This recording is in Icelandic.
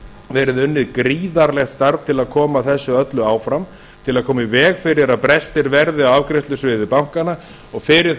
verið unnið gríðarlegt starf til að koma þessu öllu áfram til að koma í veg fyrir að brestir verði á afgreiðslusviði bankanna og fyrir